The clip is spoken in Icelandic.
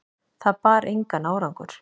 Það bar engan árangur.